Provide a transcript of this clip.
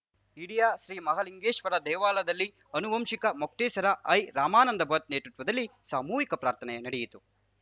Idya Sri Mahalingeshwara ದೇವಳದಲ್ಲಿ ಅನುವಂಶಿಕ ಮೊಕ್ತೇಸರ I ರಮಾನಂಧ Bhat ನೇತೃತ್ವದಲ್ಲಿ ಸಾಮೂಹಿಕ ಪ್ರಾರ್ಥನೆ ನಡೆಯಿತು